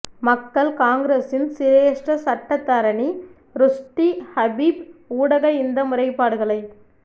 மக்கள் காங்கிரஸின் சிரேஷ்ட சட்டத்தரணி ருஷ்டி ஹபீப் ஊடாக இந்த முறைப்பாடுகளை